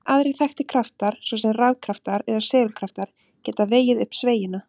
Engir aðrir þekktir kraftar, svo sem rafkraftar eða segulkraftar, geta vegið upp sveigjuna.